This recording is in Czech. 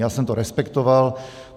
Já jsem to respektoval.